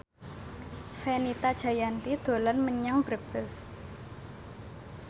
Fenita Jayanti dolan menyang Brebes